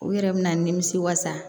U yɛrɛ bɛna nimisi wasa